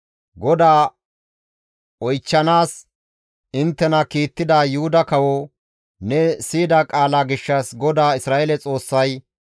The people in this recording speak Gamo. «GODAA oychchanaas inttena kiittida Yuhuda kawo, ‹Ne siyida qaala gishshas GODAA Isra7eele Xoossay,